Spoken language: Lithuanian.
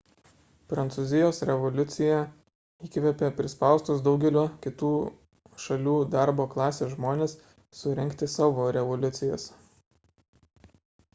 prancūzijos revoliucija įkvėpė prispaustus daugelio kitų šalių darbo klasės žmones surengti savo revoliucijas